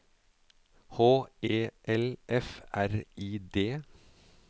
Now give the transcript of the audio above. H E L F R I D